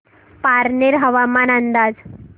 पारनेर हवामान अंदाज